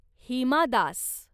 Hima Das